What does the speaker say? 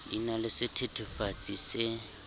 di na le sethethefatsi se